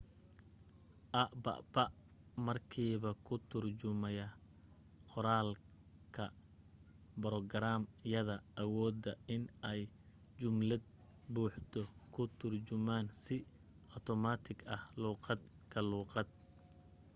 app markiiba kuu turumaya qoraalka borograam yada awooda in ay jumlad buuxdo kuu turjumaan si automatic ah luuqad ka luuqad